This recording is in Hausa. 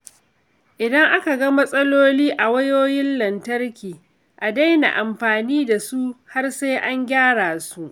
Idan aka ga matsala a wayoyin lantarki, a daina amfani da su har sai an gyara su.